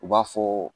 U b'a fɔ